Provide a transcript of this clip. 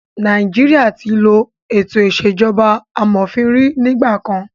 Nàìjíríà tí ló ètò ìṣèjọba amòfin rí nígbà kan.